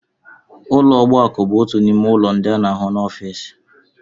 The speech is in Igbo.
Ụlọ ogbakọ bụ otu n'ime ọnụ ụlọ ndị a na-ahụ n'ọfịs